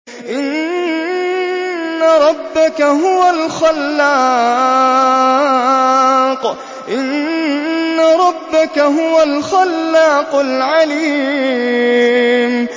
إِنَّ رَبَّكَ هُوَ الْخَلَّاقُ الْعَلِيمُ